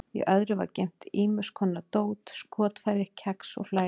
Í öðru var geymt ýmis konar dót, skotfæri, kex og fleira.